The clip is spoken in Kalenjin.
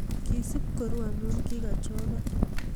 Kisub kuru amo kikachokan.